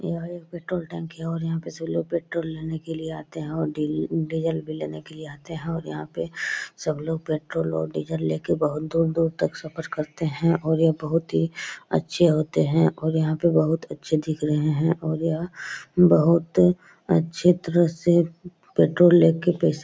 यह एक पेट्रोल टंकी है और यहाँ पे सभी लोग पेट्रोल लेने के लिए आते हैं और डेली डीजल भी लेने के लिए आते हैं और यहाँ पे सभी पेट्रोल ओर डीजल ले के बहुत दूर-दूर तक सफर करते हैं और ये बहुत ही अच्छे होते हैं और यहाँ पर बहुत अच्छे दिख रहे हैं और यह बहुत अच्छी तरह से पेट्रोल ले के पैसा --